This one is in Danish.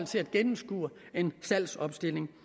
til at gennemskue en salgsopstilling